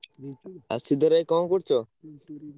ଆଉ ଶ୍ରୀଧର ଭାଇ କଣ କରୁଚ?